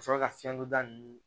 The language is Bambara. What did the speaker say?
Ka sɔrɔ ka fiɲɛdon da nun